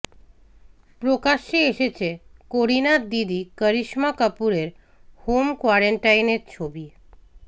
প্রকাশ্যে এসেছে করিনার দিদি করিশ্মা কাপুরের হোম কোয়ারেন্টাইনের ছবি